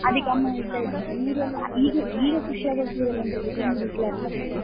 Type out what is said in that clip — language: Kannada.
ಅದಿಕ್ಕೆ ಅಮ್ಮ ಹೇಳ್ತಿದ್ರು serial ಈಗ ಈಗ ಖುಷಿಯಾಗುವ serial ಅಂತ ಹೇಳಿದ್ರೆ ಒಂದು ಹಿಟ್ಲರ್ ಕಲ್ಯಾಣ